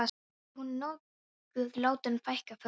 Verður hún nokkuð látin fækka fötum?